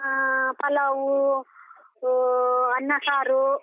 ಆ ಪಲಾವು, ಊ ಅನ್ನ ಸಾರು.